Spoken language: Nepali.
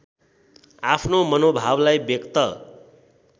आफ्नो मनोभावलाई व्यक्त